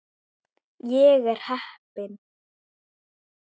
Ég er heppin.